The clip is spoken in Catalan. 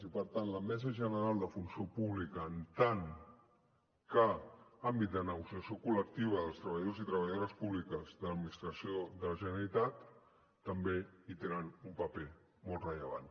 i per tant la mesa general de funció pública en tant que àmbit de negociació col·lectiva dels treballadors i treballadores públiques de l’administració de la generalitat també hi tenen un paper molt rellevant